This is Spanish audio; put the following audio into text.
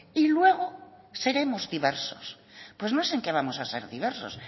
y luego seremos diversos pues no sé en qué vamos a ser diversos